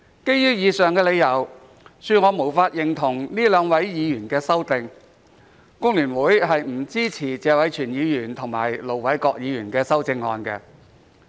基於以上的理由，恕我無法認同這兩位議員的修正案，工聯會不支持謝偉銓議員和盧偉國議員的修正案。